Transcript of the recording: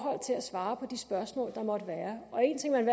svare på de spørgsmål der måtte være og en ting man